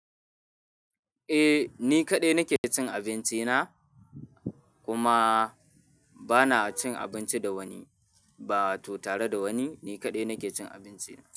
Eh, ni kaɗai nake cin abinci na. Kuma bana cin abinci da wani ba to tare da wani, ni kaɗai nake cin abinci na.